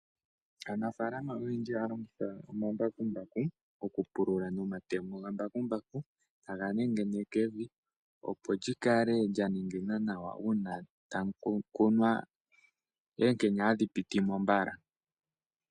Aanafalama oyendji ohaya longitha omambakumbaku, oku pulula nomatemo gambakumbaku taga nengeneke evi, opo lyi kale lya nengena nawa uuna tamu kunwa.